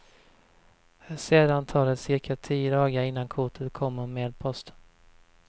Sedan tar det cirka tio dagar innan kortet kommer med posten.